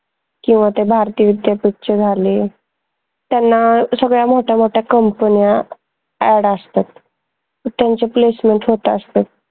किंवा ते भारती विद्यापीठचे झाले त्यांना सगळ्या मोठ्या मोठ्या company न्या add आसतात त्यांचे placement होत असतात